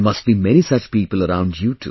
There must be many such people around you too